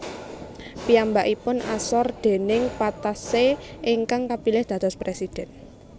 Piyambakipun asor déning Patassé ingkang kapilih dados presiden